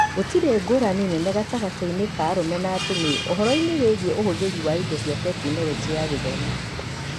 Gũtirĩ ngũrani nene gatagatĩ-inĩ ka arũme na atumia ũhoro-ini wĩgiĩ ũhũthĩri wa indo cia Tekinoronjĩ ya Gĩthomo